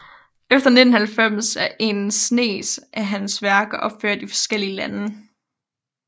Efter 1990 er en snes af hans værker opført i forskellige lande